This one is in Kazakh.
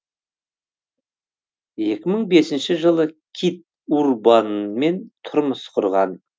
екі мың бесінші жылы кит урбанмен тұрмыс құрған